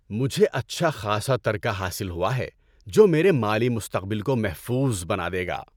مجھے اچھا خاصا ترکہ حاصل ہوا ہے جو میرے مالی مستقبل کو محفوظ بنا دے گا۔